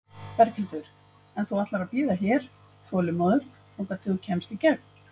Berghildur: En þú ætlar að bíða hér, þolinmóður, þangað til þú kemst í gegn?